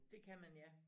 Det kan man ja